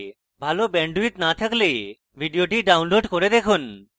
ভাল bandwidth না থাকলে ভিডিওটি download করে দেখুন